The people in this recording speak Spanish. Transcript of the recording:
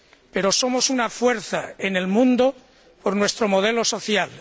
Pero somos una fuerza en el mundo por nuestro modelo social.